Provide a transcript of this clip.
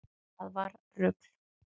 Það var rugl